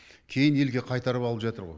кейін елге қайтарып алып жатыр ғой